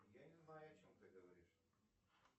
я не знаю о чем ты говоришь